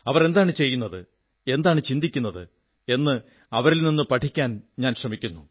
അവർ എന്താണ് ചെയ്യുന്നത് എന്താണ് ചിന്തിക്കുന്നത് എന്ന് അവരിൽ നിന്ന് പഠിക്കാൻ ഞാൻ ശ്രമിക്കുന്നു